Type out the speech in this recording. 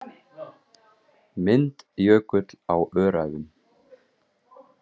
Mynd Jökull á Öræfum.